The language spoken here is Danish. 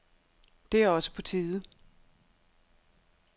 Det er også på tide.